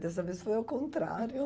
Dessa vez foi o contrário.